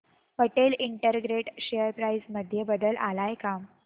Patel integrate share price मध्ये बदल आलाय का